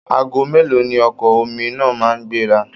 Aago mélòó ni ọkọ̀ omi náà máa ń gbéra?